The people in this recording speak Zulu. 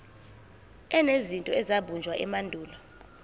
enezinto ezabunjwa emandulo